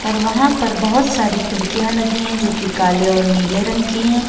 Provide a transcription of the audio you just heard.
और वहां पर बहोत सारी खिड़कियां लगी है जो की काले और नीले रंग की है।